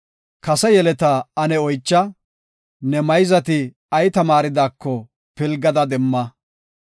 Kase yeletaa ane oycha; nu mayzati ay tamaaridaako pilgada demma.